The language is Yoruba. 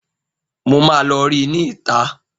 Mo máa lọ rí ní ìta